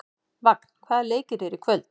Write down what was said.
Vagn, hvaða leikir eru í kvöld?